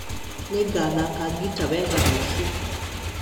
Nĩngathaka ngita wega rũciũ